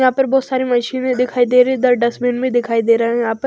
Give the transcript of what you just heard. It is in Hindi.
यहाँ पर बहुत सारी मशीने दिखाई दे रही है ड डस्टबिन भी दिखाई दे रहे है यहाँ पर --